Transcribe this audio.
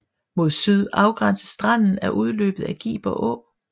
Mod syd afgænses stranden af udløbet af Giber Å